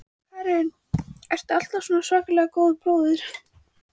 Karen: Og ertu alltaf svona svakalega góður bróðir?